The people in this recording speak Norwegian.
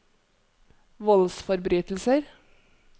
voldsforbrytelser